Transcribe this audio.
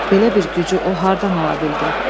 Belə bir gücü o hardan ala bildi?